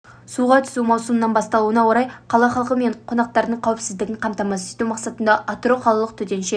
суға түсу маусымының басталуына орай қала халқы мен қонақтарының қауіпсіздігін қамтамасыз ету мақсатында атырау қалалық төтенше